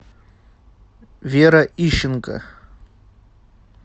вера ищенко